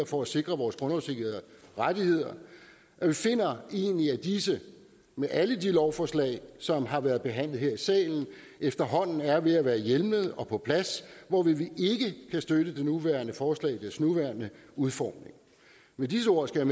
for at sikre vores grundlovssikrede rettigheder og vi finder egentlig at disse med alle de lovforslag som har været behandlet her i salen efterhånden er ved at være hjemlede og på plads hvorfor vi ikke kan støtte det nuværende forslag i dets nuværende udformning med disse ord skal